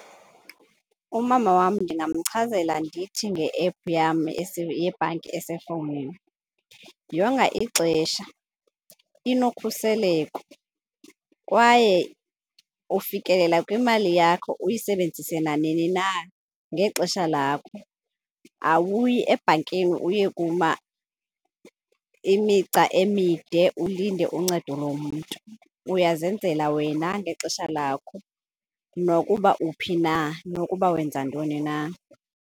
Umama wam ndingamchazela ndithi nge-app yam yebhanki esefowunini, yonga ixesha, inokhuseleko kwaye ufikelela kwimali yakho uyisebenzise nanini na ngexesha lakho. Awuyi ebhankini uye kuma imigca emide ulinde uncedo lomntu, uyazenzela wena ngexesha lakho nokuba uphi na nokuba wenza ntoni na.